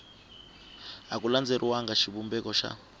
a ku landzeleriwanga xivumbeko xa